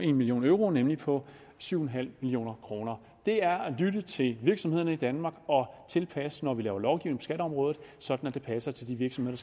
en million euro nemlig på syv million kroner det er at lytte til virksomhederne i danmark og tilpasse når vi laver lovgivning på skatteområdet sådan at det passer til de virksomheder